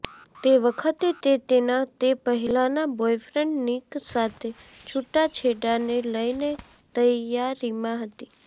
તે વખતે તે તેના તે પહેલાના બોયફ્રેન્ડ નિક સાથે છુટાછેડાને લઇને તૈયારીમા હતી